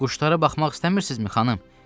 Quşlara baxmaq istəmirsinizmi, xanım?